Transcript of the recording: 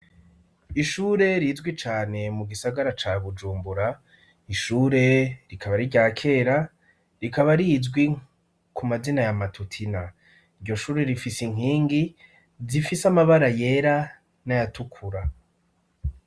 Ishure rizwi cane mu gisagara ca Bujumbura, ishure rikaba ari irya kera, rikaba rizwi ku mazina ya Matutina. Iryo shure rifise inkingi, zifise amabara yera n'ayatukura.